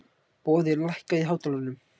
Boði, lækkaðu í hátalaranum.